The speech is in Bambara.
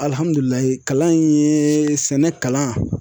kalan in ye sɛnɛ kalan.